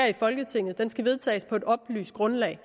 i folketinget skal vedtages på et oplyst grundlag